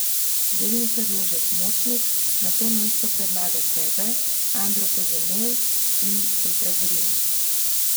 Delničar Jožef Močnik na to mesto predlaga sebe, Andro Poženel in Petra Zorina.